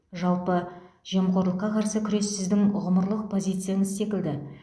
жалпы жемқорлыққа қарсы күрес сіздің ғұмырлық позицияныз секілді